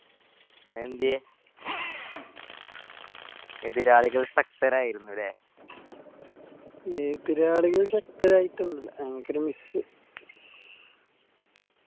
അതെന്തിയേ